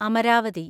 Amaravati